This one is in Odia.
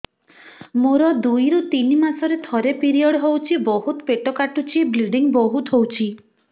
ମୋର ଦୁଇରୁ ତିନି ମାସରେ ଥରେ ପିରିଅଡ଼ ହଉଛି ବହୁତ ପେଟ କାଟୁଛି ବ୍ଲିଡ଼ିଙ୍ଗ ବହୁତ ହଉଛି